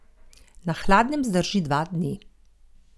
Na hladnem zdrži dva dni.